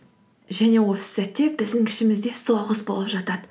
және осы сәтте біздің ішімізде соғыс болып жатады